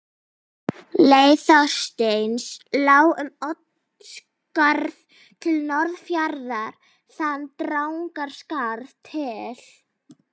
Leið Þorsteins lá um Oddsskarð til Norðfjarðar, þaðan Drangaskarð til